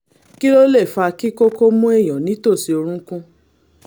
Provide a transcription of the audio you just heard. kí ló lè fa kí kókó mú èèyàn nítòsí orúnkún?